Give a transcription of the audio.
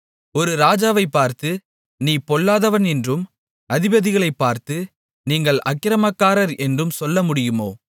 ஒரு ராஜாவைப் பார்த்து நீ பொல்லாதவன் என்றும் அதிபதிகளைப் பார்த்து நீங்கள் அக்கிரமக்காரர் என்றும் சொல்ல முடியுமோ